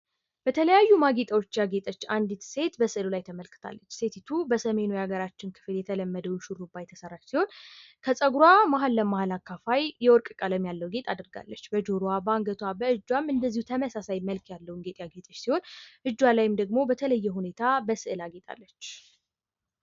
በተለያዩ ማጌጫዎች ያጌጠች አንዲት ሴት በምስሉ ላይ ተመልክታለች። ሴቲቱ በሰሜኑ የሃገራችን ክፍል የተለመደውን ሹሩባ የተሰራች ሲሆን፤ ከፀጉሯ መሀል ለመሀል አካፋይ የወርቅ ቀለም ያለው ጌጥ አድርጋለች። በጆሮዋ፣ በአንገቷ ፣ በእጇም እንደዚህ ተመሳሳይ መልክ ያለውን ጌጥ ያጌጠች ሲሆን፤ እጇ ላይም ደግሞ በተለይየ ሁኔታ በስዕል አጊጣለች።